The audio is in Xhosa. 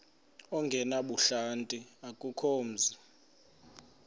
ongenabuhlanti akukho mzi